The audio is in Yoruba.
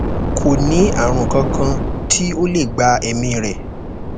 ko ni arun kan kan ti o le gba emi re